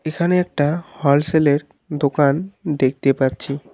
এখানে একটা হলসেলের দোকান দেখতে পাচ্ছি।